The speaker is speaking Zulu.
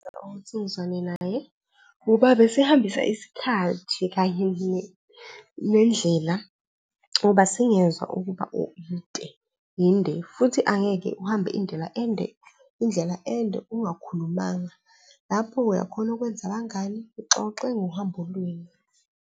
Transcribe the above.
Ukuthi ngizwane naye ngoba besehambisa isikhathi kanye nendlela ngoba singezwa ukuba yinde futhi angeke uhambe indlela ende, indlela ende ungakhulumanga. Lapho uyakhona ukwenza abangani, uxoxe ngohambo lwenu.